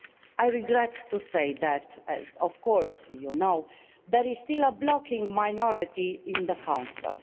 I regret to say that as of course you know there is still a blocking minority in the Council.